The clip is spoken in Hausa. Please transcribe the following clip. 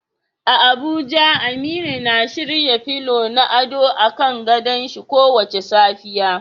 A Abuja Aminu na shirya fulo na ado a kan gadon shin kowace safiya.